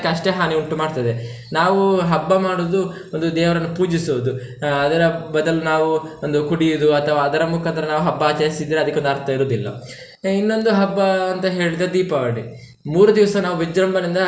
ಅಷ್ಟೇ ಹಾನಿ ಉಂಟು ಮಾಡ್ತದೆ, ನಾವು ಹಬ್ಬ ಮಾಡುದು ಒಂದು ದೇವರನ್ನು ಪೂಜಿಸುದು ಆಹ್ ಅದರ ಬದಲು ನಾವು ಒಂದು ಕುಡಿಯುದು ಅಥವಾ ಅದರ ಮುಖಾಂತರ ನಾವು ಹಬ್ಬ ಆಚರಿಸಿದ್ರೆ ಅದಿಕ್ಕೆ ಒಂದು ಅರ್ಥ ಇರುದಿಲ್ಲ, ಇನ್ನೊಂದು ಹಬ್ಬ ಅಂತ ಹೇಳಿದ್ರೆ ದೀಪಾವಳಿ ಮೂರು ದಿವ್ಸ ನಾವು ವಿಜೃಂಭಣೆಯಿಂದ.